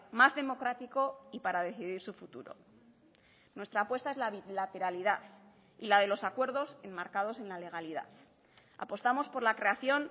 más democrático y para decidir su futuro nuestra apuesta es la bilateralidad y la de los acuerdos enmarcados en la legalidad apostamos por la creación